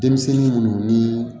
Denmisɛnnin munnu ni